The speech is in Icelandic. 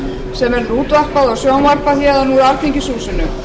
sem verður útvarpað og sjónvarpað héðan úr alþingishúsinu